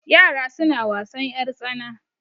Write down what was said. Yara suna wasan ƴartsana.